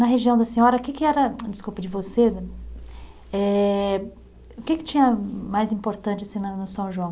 Na região da senhora, o que que era, ah desculpe, de você, eh o que que tinha mais importante assim na, no São João?